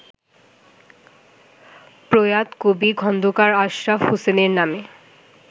প্রয়াত কবি খোন্দকার আশরাফ হোসেনের নামে